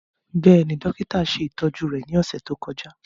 Bẹ́ẹ̀ni, dokita ṣe itọju rẹ ni ọsẹ to kọja.